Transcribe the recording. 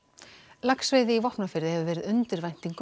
laxveiði í Vopnafirði hefur verið undir væntingum